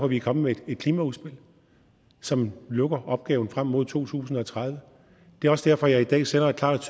vi er kommet med et klimaudspil som lukker opgaven frem mod to tusind og tredive det er også derfor at jeg i dag sender et klart